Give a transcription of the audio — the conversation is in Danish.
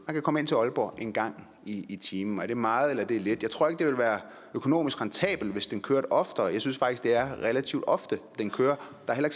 kan komme til aalborg en gang i i timen er det meget eller er det lidt jeg tror ikke at det ville være økonomisk rentabelt hvis den kørte oftere jeg synes faktisk at det er relativt ofte den kører der er